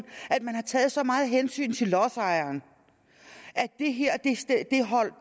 at man har taget så meget hensyn til lodsejeren at